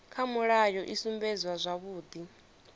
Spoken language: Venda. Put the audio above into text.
kha mulayo i sumbedza zwavhudi